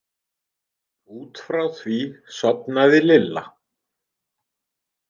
Út frá því sofnaði Lilla.